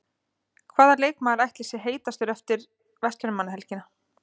Hvaða leikmaður ætli sé heitastur eftir Verslunarmannahelgina?